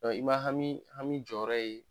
Ɔ i ma hami hami jɔyɔrɔ ye